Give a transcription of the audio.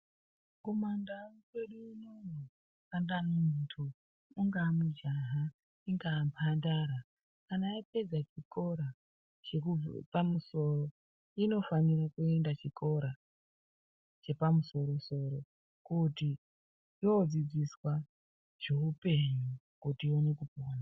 Kumandau kwedu unoino kana muntu ungaa mujaha ungaa mhandara kana yapedza chikora chepamusoro inofanira kuenda chikora chepamusorosoro kuti yodzidziswa zveupenyu kuti ione kupona.